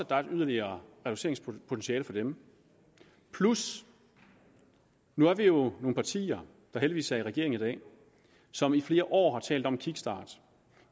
der er et yderligere reduceringspotentiale for dem og nu er vi jo nogle partier der heldigvis er i regering i dag og som i flere år har talt om en kickstart